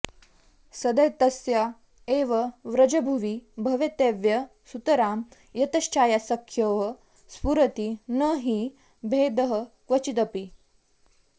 सदैतस्या एव व्रजभुवि भवत्येव सुतरां यतश्छायासख्योः स्फुरति न हि भेदः क्वचिदपि